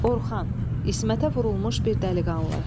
Orxan, İsmətə vurulmuş bir dəliqanlı.